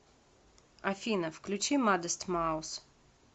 афина включи мадест маус